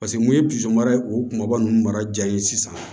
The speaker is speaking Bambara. Paseke n'u ye o kumaba ninnu mara ja ye sisan